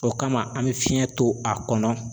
O kama an bɛ fiɲɛ to a kɔnɔ